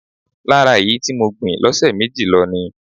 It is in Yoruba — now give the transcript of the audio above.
Lára èyí tí mo gbìn lọ́sẹ̀ méjì lọ ni.